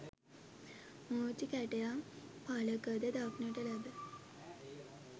මූර්ති කැටයම් ඵලක ද දක්නට ලැබේ.